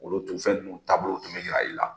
Olu tun fɛn ninnu taabolow tun bɛ yira i la